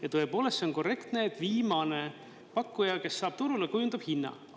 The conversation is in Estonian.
Ja tõepoolest, see on korrektne, et viimane pakkuja, kes saab turule, kujundab hinna.